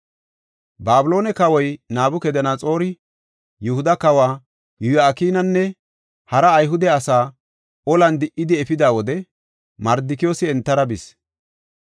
Babiloone kawoy Nabukadanaxoori Yihuda kawa Yo7akinanne hara Ayhude asaa olan di77idi efida wode Mardikiyoosi entara bis.